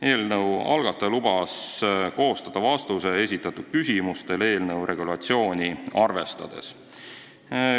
Eelnõu algataja lubas koostada vastuse esitatud küsimustele eelnõu regulatsiooni arvestades.